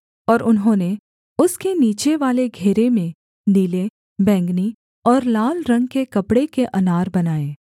और उन्होंने उसके नीचेवाले घेरे में नीले बैंगनी और लाल रंग के कपड़े के अनार बनाए